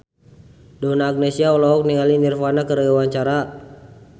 Donna Agnesia olohok ningali Nirvana keur diwawancara